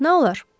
Nə olar?